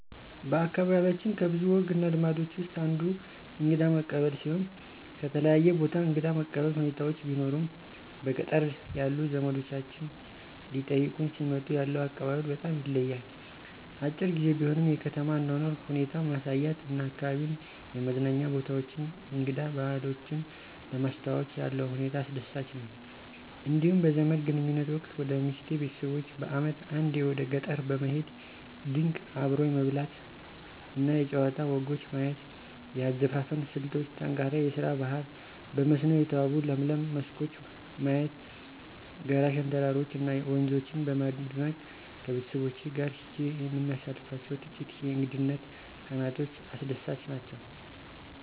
በአካባቢያችን ከብዙ ወግ እና ልማዶች ውስጥ አንዱ እንግዳ መቀበል ሲሆን ከተለያየ ቦታ እንግዳ መቀበል ሁኔታዎች ቢኖሩም በገጠር ያሉ ዘመዶቻችን ሊጠይቁን ሲመጡ ያለው አቀባበል በጣም ይለያል። አጭር ግዜ ቢሆንም የከተማ አኗኗር ሁኔታ ማሳየት እና አካባቢዉን የመዝናኛ ቦታዎችን እንግዳ ባህሎችን ለማስተዋወቅ ያለው ሁኔታ አስደሳች ነው። እንዲሁም በዘመድ ግንኙነት ወቅት ወደ ሚስቴ ቤተሰቦች በአመት አንዴ ወደ ገጠር በመሄድ ድንቅ አብሮ የመብላት እና የጨዋታ ወጎች ማየት; የአዘፋፈን ስልቶች: ጠንካራ የስራ ባህል; በመስኖ የተዋቡ ለምለም መስኮች ማየት; ጋራ ሸንተረሮች እና ወንዞችን በማድነቅ ከቤተሰቦቼ ጋር ሄጄ የምናሳልፋቸው ጥቂት የእንግድነት ቀናቶች አስደሳች ናቸው።